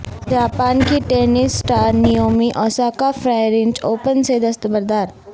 Japan کی tennis star Naomi Osaka French Open سے دستبردار